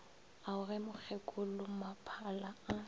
ao ie ge mokgekolommaphala a